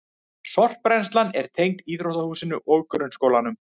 Sorpbrennslan er tengd íþróttahúsinu og grunnskólanum